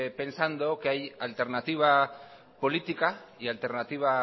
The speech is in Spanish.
pensado que hay alternativa política y alternativa